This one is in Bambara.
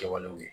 Kɛwalew ye